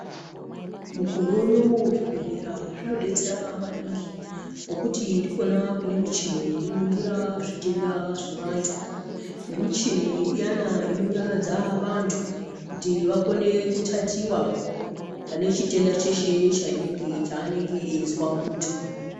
Mukore unowu zvibhedhlera zvinobetsera maningi ngokuti ndikona kune mishini inoningira zvitenda zvevandu nemichini iyana inonyaradza vandu kuti vakone kutatiwa vane chienda cheshe chaanenge eyizwa mundu.